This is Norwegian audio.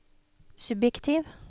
subjektiv